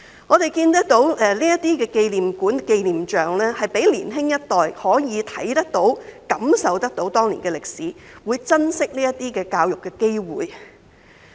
我們看到這些紀念館和紀念像，可以讓年輕一代看得到、感受到當年的歷史，會珍惜這些教育的機會。